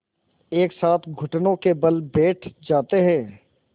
एक साथ घुटनों के बल बैठ जाते हैं